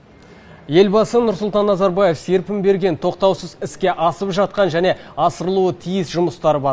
елбасы нұрсұлтан назарбаев серпін берген тоқтаусыз іске асып жатқан және асырылуы тиіс жұмыстар бар